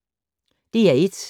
DR1